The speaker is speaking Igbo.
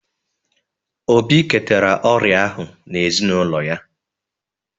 Obi ketara ọrịa ahụ n’ezinụlọ ha